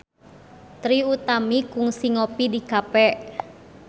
Trie Utami kungsi ngopi di cafe